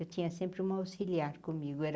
Eu tinha sempre uma auxiliar comigo. era